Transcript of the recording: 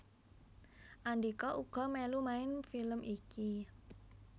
Andhika uga mèlu main film iki